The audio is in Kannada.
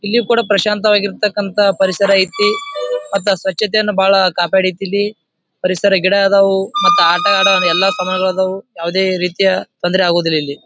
ಇಲ್ಲಿ ಕೂಡ ಪ್ರಶಾಂತವಾಗಿರತಕ್ಕಂತ ಪರಿಸರ ಐತಿ ಮತ್ತ ಸ್ವಚತ್ತೆಯನ್ನ ಬಹಳ್ ಕಾಪಾಡಿತ್ ಇಲ್ಲಿ. ಪರಿಸರ ಗಿಡ ಅದವು ಮತ್ತ ಆಟ ಆಡೋ ಎಲ್ಲಾ ಸಾಮಾನುಗಳು ಅದವು. ಯಾವದೇ ರೀತಿಯ ತೊಂದರೆ ಆಗುದಿಲ್ಲ ಇಲ್ಲಿ .